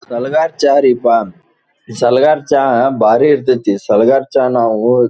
ಸಲಗರ ಚಾ ರಿ ಪ ಸಲಗರ ಚಾ ಬಾರಿ ಇರ್ತತು ಸಲಗರ ಚಾ ನಾವು--